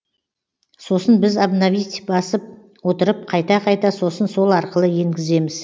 сосын біз обновить басып отырып қайта қайта сосын сол арқылы енгіземіз